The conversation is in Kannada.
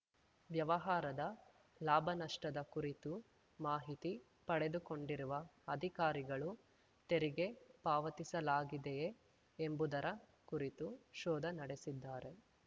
ವ್ಯವಹಾರದ ಲಾಭನಷ್ಟದ ಕುರಿತು ಮಾಹಿತಿ ಪಡೆದುಕೊಂಡಿರುವ ಅಧಿಕಾರಿಗಳು ತೆರಿಗೆ ಪಾವತಿಸಲಾಗಿದೆಯೇ ಎಂಬುದರ ಕುರಿತು ಶೋಧ ನಡೆಸಿದ್ದಾರೆ